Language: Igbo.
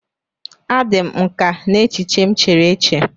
A dị m nkà n'echiche m chere eche.